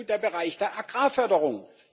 der Bereich der Agrarförderung.